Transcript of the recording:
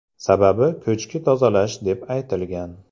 Sababi ko‘chki tozalash deb aytilgan.